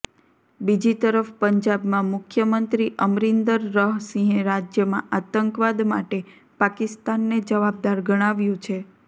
બીજીતરફ પંજાબમાં મુખ્યમંત્રી અમરિન્દરહ સિંહે રાજ્યમાં આતંકવાદ માટે પાકિસ્તાનને જવાબદાર ગણાવ્યું છે